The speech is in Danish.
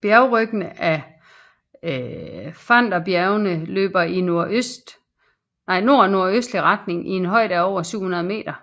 Bjergryggene af Pfänderbjergene løber i nordnordøstlig retning i en højde af over 700 meter